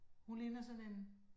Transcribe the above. Hun ligner sådan en